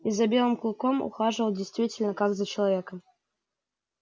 и за белым клыком ухаживал действительно как за человеком